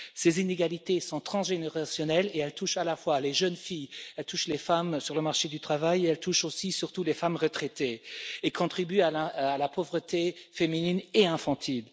Ces inégalités sont transgénérationnelles et elles touchent à la fois les jeunes filles et les femmes sur le marché du travail, elles touchent aussi et surtout les femmes retraitées et contribuent à la pauvreté féminine et infantile.